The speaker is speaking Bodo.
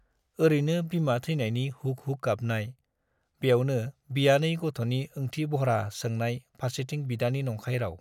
ओरैनो बिमा थैनायनि हुक हुक गाबनाय, ब्यावनो बियानै गथ'नि ओंथि बह्रा सोंनाय-फार्सेथिं बिदानि नंखाय राउ।